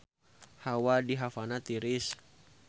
Hawa di Havana tiris